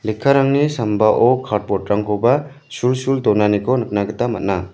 sambao cardboard-rangkoba sulsul donaniko nikna gita man·a.